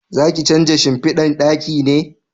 Za ki canja shimfidan ɗaki ne?